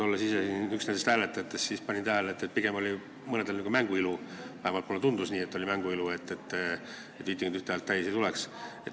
Olles ise üks hääletajatest, panin tähele, et pigem pidasid mõned silmas nagu mängu ilu, vähemalt mulle tundus nii, et see oli mängu ilu, et 51 häält täis ei tuleks.